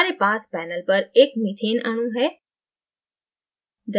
हमारे पास panelपर एक methane अणु है